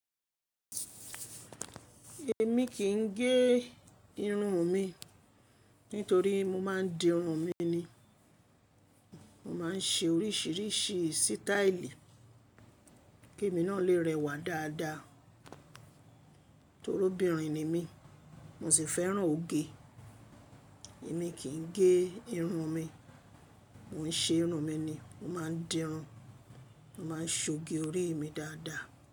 Èmi kì í gé irun mi, nítorí mo má a dirun mi ni. Mo má a ń ṣe oríṣiríṣi sítáílì kí mi náà lè rẹwà dáadáa. Tórí obìnrin ni mí, mo sì fẹ́ràn ọge. Èmi kì í gé irun mi, mò ń ṣe irun mi ni. Mo má a dirun, mo má a ń sóge orí mi dáadáa.